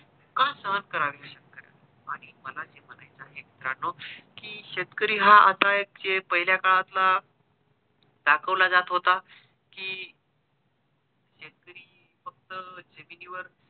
का सहन करावे ह्या शेतकऱ्यांनी आणि मला जे म्हणायचं आहे मित्रांनो कि शेतकरी हा आता एक पहिल्या काळात ला दाखवला जात होता कि शेतकरी फक्त जमिनीवर